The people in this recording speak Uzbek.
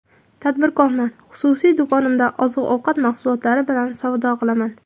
Tadbirkorman, xususiy do‘konimda oziq-ovqat mahsulotlari bilan savdo qilaman.